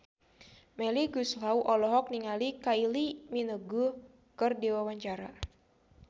Melly Goeslaw olohok ningali Kylie Minogue keur diwawancara